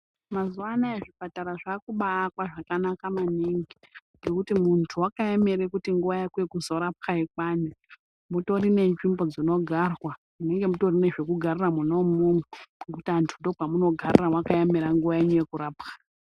Mazuwanaya zvipatara zvakubaakwa zvakanaka maningi ngekuti muntu wakaemera kuti nguwa yako yekuzorapwa ikwane mutori nenzvimbo dzinogarwa munenge mutori nezvekugarira mwona umwomwo . Ngekuti antu ndokwamunogarira mwakaemera nguwa yenyu yekurapwa.